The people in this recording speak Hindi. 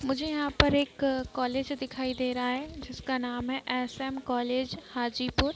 मुझे यहाँ पर एक कॉलेज दिखाई दे रहा है जिसका नाम है एस.एम. कॉलेज हाजीपुर।